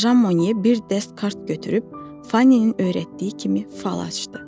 Jan Moye bir dəst kart götürüb Fanninin öyrətdiyi kimi fal açdı.